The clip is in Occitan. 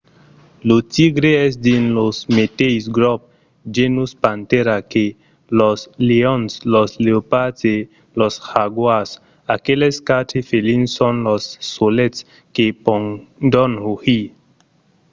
lo tigre es dins lo meteis grop genus panthera que los leons los leopards e los jaguars. aqueles quatre felins son los solets que pòdon rugir